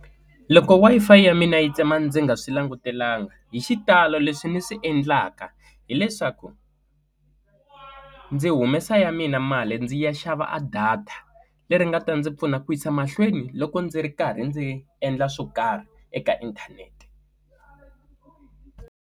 Loko Wi-Fi ya mina yi tsema ndzi nga swi langutelanga hi xitalo leswi ni swi endlaka hileswaku ndzi humesa ya mina mali ndzi ya xava a data leri nga ta ndzi pfuna ku yisa mahlweni loko ndzi ri karhi ndzi endla swo karhi eka inthanete.